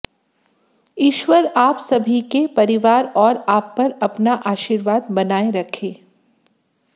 ईश्वर आप सभी के परिवार और आप पर अपना आशीर्वाद बनाए रखे